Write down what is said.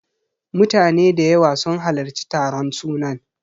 Mutane da yawa sun halarci taron sunan.